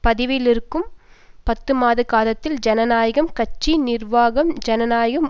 பதவியிலிருக்கும் பத்துமாதகாலத்தில் ஜனநாயக கட்சி நிர்வாகம் ஜனநாயக